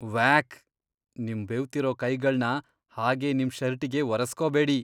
ವ್ಯಾಕ್. ನಿಮ್ ಬೆವ್ತಿರೋ ಕೈಗಳ್ನ ಹಾಗೆ ನಿಮ್ ಷರ್ಟಿಗೆ ಒರೆಸ್ಕೋಬೇಡಿ.